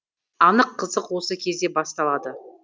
анық қызық осы кезде басталады